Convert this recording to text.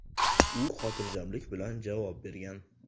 U xotirjamlik bilan javob bergan.